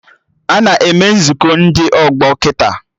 Ana eme Nzukọ ndị ọgbọ kịta